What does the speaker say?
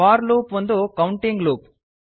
four loop ಒಂದು counting loop